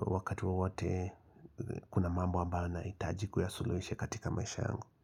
Wakati wowote kuna mambo ambayo nahitaji kuyasuluhisha katika maisha yangu.